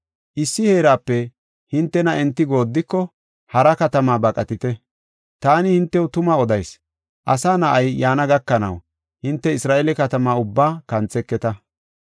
Issi heerape hintena enti gooddiko hara katama baqatite. Taani hintew tuma odayis; Asa Na7ay yaana gakanaw, hinte Isra7eele katama ubbaa kantheketa.